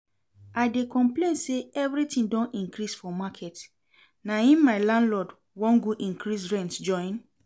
I dey complain say everything don increase for market na im my landlord wan go increase rent join